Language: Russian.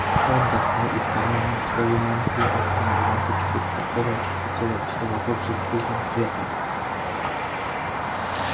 он достал из кармана своей мантии атомную лампочку которая осветила все вокруг жемчужным светом